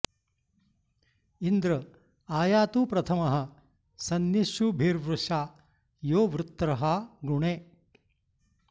इन्द्र॒ आ या॑तु प्रथ॒मः स॑नि॒ष्युभि॒र्वृषा॒ यो वृ॑त्र॒हा गृ॒णे